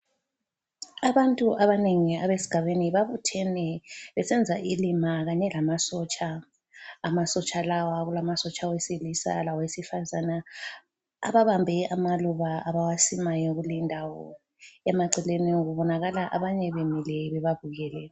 Abantu abanengi abesigabeni babuthene besenza ilima kanye lamasotsha. Amasotsha lawa kulamasotsha awesilisa lawesifazana ababambe amaluba abawasimayo kuleyindawo. Emaceleni kubonakala abanye bemile bebabukele.